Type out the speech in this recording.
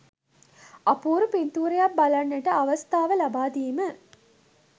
අපූරු පින්තූරයක් බලන්නට අවස්ථාව ලබාදීම